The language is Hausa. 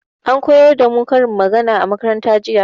An koyar da mu karin magana a makaranta jiya.